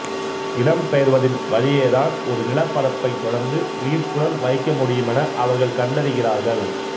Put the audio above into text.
இடம்பெயர்வதின் வழியேதான் ஒரு நிலப்பரப்பைத் தொடர்ந்து உயிர்ப்புடன் வைக்க முடியுமென அவர்கள் கண்டறிகிறார்கள்